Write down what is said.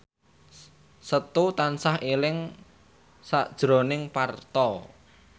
Setu tansah eling sakjroning Parto